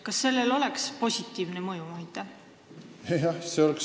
Kas sellel oleks positiivne mõju?